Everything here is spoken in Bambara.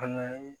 An ka